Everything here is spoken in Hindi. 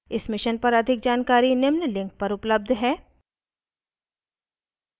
इस mission पर अधिक जानकारी निम्न link पर उपलब्ध है: